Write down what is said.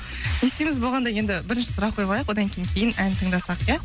не істейміз болғанда енді бірінші сұрақ қойып алайық одан кейін кейін ән тыңдасақ ия